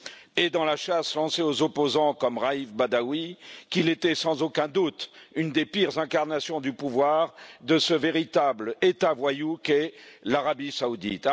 et dans la chasse lancée aux opposants, comme Raif Badawi, qu'il était sans aucun doute une des pires incarnations du pouvoir de ce véritable État voyou qu'est l'Arabie Saoudite.